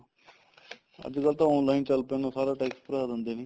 ਅੱਜਕਲ ਤਾਂ online ਚੱਲ ਪੈਂਦਾ ਸਾਰਾ tax ਭਰਾ ਦਿੰਦੇ ਨੇ